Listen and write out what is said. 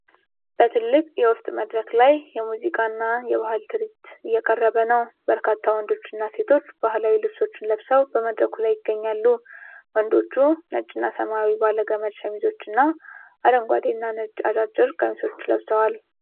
በትልቅ የውስጥ መድረክ ላይ የሙዚቃና የባህል ትርዒት እየቀረበ ነው። በርካታ ወንዶች እና ሴቶች ባህላዊ ልብሶችን ለብሰው በመድረኩ ላይ ይገኛሉ። ወንዶቹ ነጭና ሰማያዊ ባለገመድ ሸሚዞች እና አረንጓዴና ነጭ አጫጭር ቀሚሶችን ለብሰዋል።